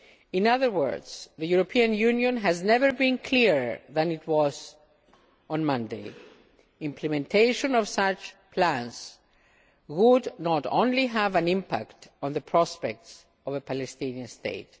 In other words, the European Union has never been clearer than it was on Monday implementation of such plans would not only have an impact on the prospect of a Palestinian state